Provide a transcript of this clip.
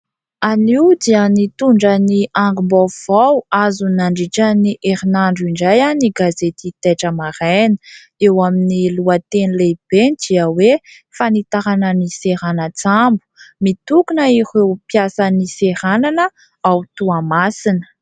Anio dia nitondra ny angom-baovao azo nandritra ny herinandro indray ny gazety Taitra Maraina ; eo amin'ny lohateny lehibeny dia hoe fanitarana ny seranan-tsambo. Mitokona ireo mpiasan'ny seranana ao Toamasina.